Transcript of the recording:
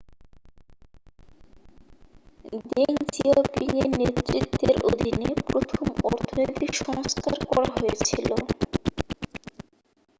Deng জিয়াওপিংয়ের নেতৃত্বের অধীনে প্রথম অর্থনৈতিক সংস্কার করা হয়েছিল